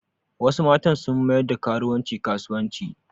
Wasu matan sun mayar da karuwanci kasuwanci